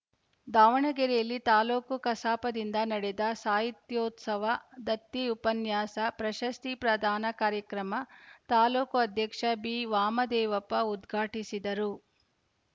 ದಾವಣಗೆರೆಯಲ್ಲಿ ತಾಲೂಕು ಕಸಾಪದಿಂದ ನಡೆದ ಸಾಹಿತ್ಯೋತ್ಸವ ದತ್ತಿ ಉಪನ್ಯಾಸ ಪ್ರಶಸ್ತಿ ಪ್ರದಾನ ಕಾರ್ಯಕ್ರಮ ತಾಲ್ಲೂಕು ಅಧ್ಯಕ್ಷ ಬಿವಾಮದೇವಪ್ಪ ಉದ್ಘಾಟಿಸಿದರು